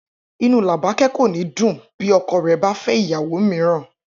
Inú Làbáké̩ kò ní dùn bí o̩ko̩ rè̩ bá fé̩ ìyàwó mìíràn